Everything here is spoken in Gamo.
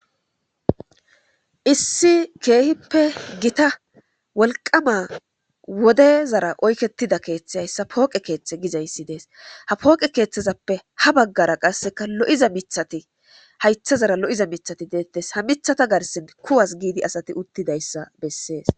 issi keehippe gita wolqama wode zara oykettida keeththe hayssa pooqe keeththe gizayssi dees ha pooqe keeththezappe ha baggara qasseka lo7iza mithati haytha zara lo7iza mithati deettes ha mithata garsin kuwas giidi asati uttidayssa bessees